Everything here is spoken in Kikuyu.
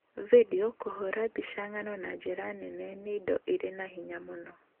Video, na kũhũũra mbica ng'ano na njĩra nene, nĩ indo irĩ na hinya mũno.